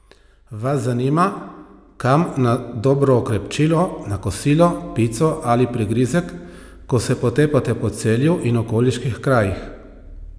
Vas zanima, kam na dobro okrepčilo, na kosilo, pico ali prigrizek, ko se potepate po Celju in okoliških krajih?